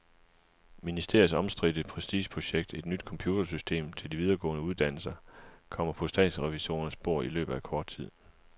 Ministeriets omstridte prestigeprojekt, et nyt computersystem til de videregående uddannelser, kommer på statsrevisorernes bord i løbet af kort tid.